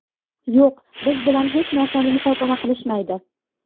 Yo‘q, biz bilan hech narsani muhokama qilishmaydi.